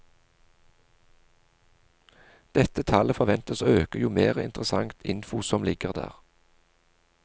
Dette tallet forventes å øke jo mere interessant info som ligger der.